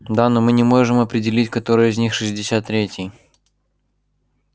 да но мы не можем определить который из них шестьдесят третий